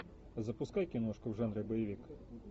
запускай киношку в жанре боевик